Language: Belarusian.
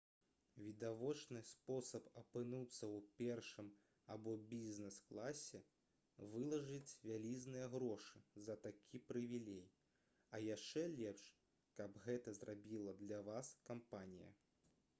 відавочны спосаб апынуцца ў першым або бізнес-класе — вылажыць вялізныя грошы за такі прывілей а яшчэ лепш каб гэта зрабіла для вас кампанія